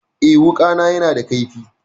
Eh, wuƙana yana da kaifi.